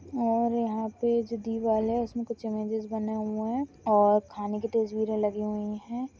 और यहाँ पे जो दिवाल है उसमे कुछ इमेजिस बने हुये है और खाने की तस्वीरे लगी हुई है।